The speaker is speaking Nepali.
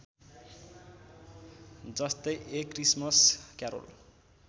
जस्तै ए क्रिसमस क्यारोल